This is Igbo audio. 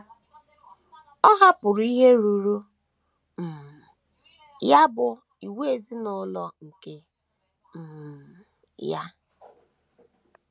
Ọ hapụrụ ihe ruuru um ya bụ́ inwe ezinụlọ nke aka um ya. um. um